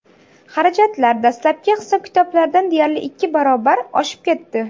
Xarajatlar dastlabki hisob-kitoblardan deyarli ikki barobar oshib ketdi.